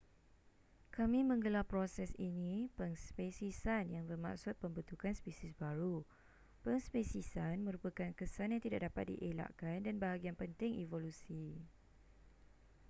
kami menggelar proses ini pengspesiesan yang bermaksud pembentukan spesies baru pengspesiesan merupakan kesan yang tidak dapat dielakkan dan bahagian penting evolusi